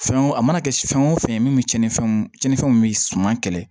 Fɛn o a mana kɛ fɛn o fɛn ye min bi cɛnnifɛnw cɛnnifɛnw bɛ suman kɛlɛ